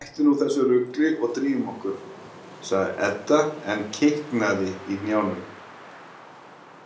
Hættu nú þessu rugli og drífum okkur, sagði Edda en kiknaði í hnjánum.